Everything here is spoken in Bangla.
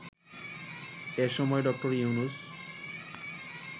এ সময় ড. ইউনূস